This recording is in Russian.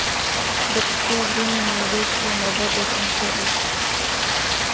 до какого времени вечером работает рум сервис